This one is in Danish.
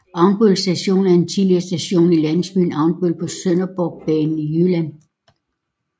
Avnbøl Station er en tidligere station i landsbyen Avnbøl på Sønderborgbanen i Jylland